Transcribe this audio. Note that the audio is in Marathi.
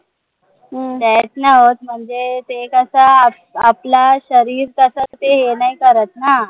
death नाय होत म्हणजे ते कस आपलं शरीर कस ते हे नाही करत ना